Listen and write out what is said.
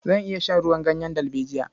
Zan iya shan ruwan ganyen dalbejiya.